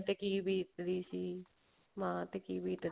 ਤੇ ਕੀ ਬੀਤਦੀ ਸੀ ਮਾਂ ਤੇ ਕੀ ਬੀਤਦੀ